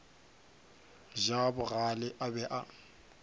ja bogale a be a